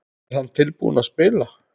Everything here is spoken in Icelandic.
Er hann tilbúinn að spila?